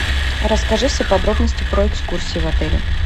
расскажи все подробности про экскурсии в отеле